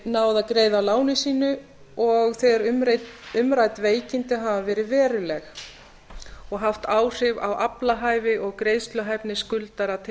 náð að greiða af láni sínu og þegar umrædd veikindi hafa veruleg áhrif á aflahæfi og greiðsluhæfni skuldara til